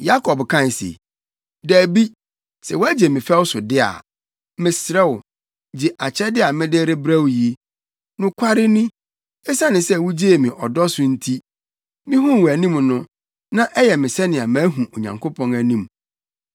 Yakob kae se, “Dabi, sɛ woagye me fɛw so de a, mesrɛ wo, gye akyɛde a mede rebrɛ wo yi. Nokware ni, esiane sɛ wugyee me ɔdɔ so nti, mihuu wʼanim no, na ayɛ me sɛnea mahu Onyankopɔn anim.